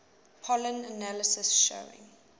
pollen analysis showing